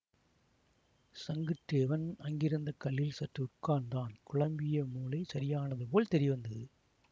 சங்குத் தேவன் அங்கிருந்த கல்லில் சற்று உட்கார்ந்தான் குழம்பிய மூளை சரியானது போல் தெரிவந்தது